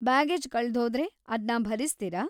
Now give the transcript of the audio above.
Baggage ಕಳ್ದ್ಹೋದ್ರೆ ಅದ್ನ ಭರಿಸ್ತೀರಾ?